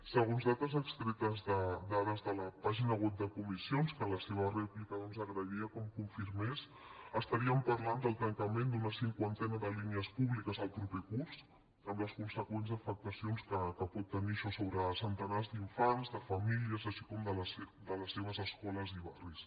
segons dades extretes de dades de la pàgina web de comissions que en la seva rèplica doncs agrairia que em confirmés estaríem parlant del tancament d’una cinquantena de línies públiques el proper curs amb les conseqüents afectacions que pot tenir això sobre centenars d’infants de famílies així com de les seves escoles i barris